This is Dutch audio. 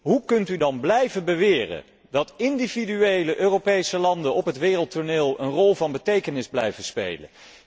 Hoe kunt u dan blijven beweren dat individuele Europese landen op het wereldtoneel een rol van betekenis blijven spelen?